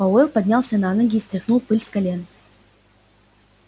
пауэлл поднялся на ноги и стряхнул пыль с колен